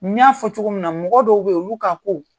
N y'a fɔ cogo min na mɔgɔ dɔw beyi olu ka ko